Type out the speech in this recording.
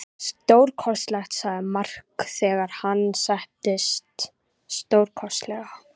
Stórkostlegt, sagði Mark þegar hann settist, stórkostlegt.